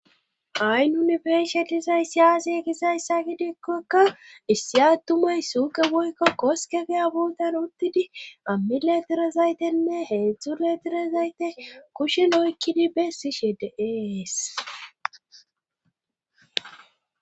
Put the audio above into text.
aynunifershalizay siyaasi e gisayssa gidikkokka issi attumay suuqe boykko koskegeya boodan uttidi ammileterazaytenne heedzdzu leterazayte kushen oykkidi beessi she deees